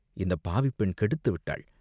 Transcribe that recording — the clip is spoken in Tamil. இந்தப் பாவிப்பெண் கெடுத்துவிட்டாள்!